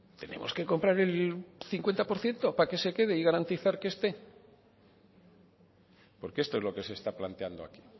tenemos que comprar el cincuenta por ciento para que se quede y garantizar que esté porque esto es lo que se está planteando aquí